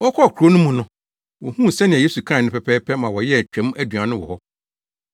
Wɔkɔɔ kurow no mu no, wohuu sɛnea Yesu kae no pɛpɛɛpɛ ma wɔyɛɛ twam aduan no wɔ hɔ.